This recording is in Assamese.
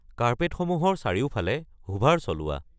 কাৰ্পেটসমূহৰ চাৰিওফালে হুভাৰ চলোৱা